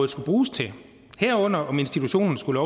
skulle bruges til herunder om institutionen skulle